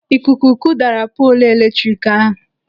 Ikuku kụdara poolu eletrik ahụ.